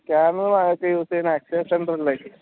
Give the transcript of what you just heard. scanner വാങ്ങിച്ചു use ചെയ്യുന്ന center ലേക്